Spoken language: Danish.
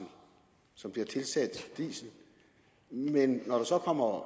som bliver tilsat diesel men når der så kommer